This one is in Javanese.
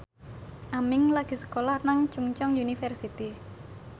Aming lagi sekolah nang Chungceong University